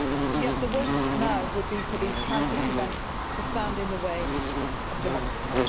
Yet the worst thing now would be for these tragic events to stand in the way of democracy.